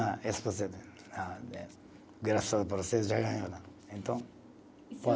A esposa, graças já ganhou. Então